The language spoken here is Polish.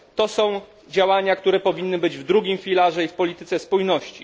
To są działania, które powinny być w drugim filarze i w polityce spójności.